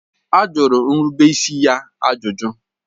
A jụrụ nrubeisi ya ajụjụ.